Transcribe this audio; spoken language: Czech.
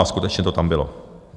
A skutečně to tam bylo.